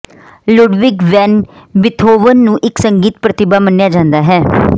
Ludwig van Beethoven ਨੂੰ ਇੱਕ ਸੰਗੀਤ ਪ੍ਰਤਿਭਾ ਮੰਨਿਆ ਜਾਂਦਾ ਹੈ